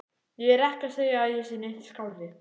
Ég er ekki að segja að ég sé neitt skárri.